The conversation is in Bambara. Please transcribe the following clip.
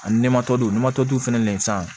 Ani fɛnɛ nɛn san